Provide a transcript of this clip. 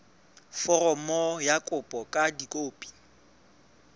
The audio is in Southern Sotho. foromo ya kopo ka dikopi